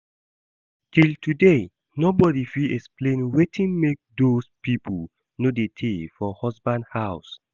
Till today nobody fit explain wetin make doz people no dey tay for husband house